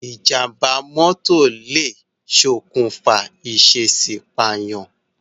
Ìjàm̀bá mọ́tọ̀ lè ṣokùnfà ìṣèèṣì pààyàn.